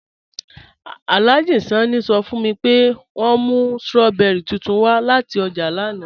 Alhaji Sanni sọ́ fun mi pé wọn mú strawberries tuntun wa lati ọ́jà lánà